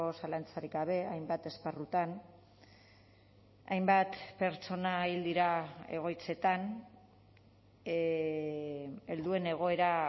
zalantzarik gabe hainbat esparrutan hainbat pertsona hil dira egoitzetan helduen egoera